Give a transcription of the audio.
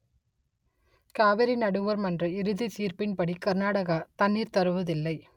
காவிரி நடுவர் மன்ற இறுதி தீர்ப்பின்படி கர்நாடகா தண்ணீர் தருவதில்லை